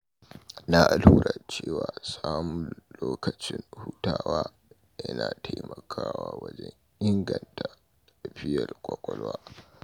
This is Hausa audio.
Na lura cewa samun lokacin hutawa yana taimakawa wajen inganta lafiyar ƙwaƙwalwa.